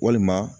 Walima